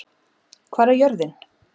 Hvar er jörðin?